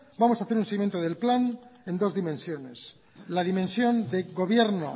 vamos a hacer un seguimiento del plan en dos dimensiones la dimensión de gobierno